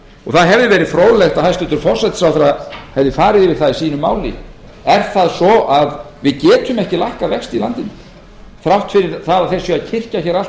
það hefði verið fróðlegt að hæstvirtur forsætisráðherra hefði farið yfir það í sínu máli er það svo að við getum ekki lækkað vexti í landinu þrátt fyrir það að þeir séu að kyrkja hér allt